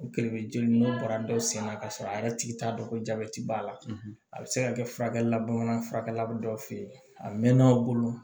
U kɛlɛ bɛ jeni n'u bɔra dɔ senna k'a sɔrɔ a yɛrɛ tigi t'a dɔn ko jabɛti b'a la a bɛ se ka kɛ furakɛli bamanan furakɛla bɛ dɔw fɛ yen a mɛnna aw bolo